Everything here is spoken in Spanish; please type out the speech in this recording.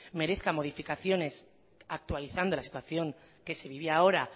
merezca modificaciones actualizando la situación que se vivía ahora